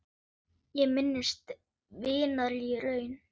Ég minnist vinar í raun.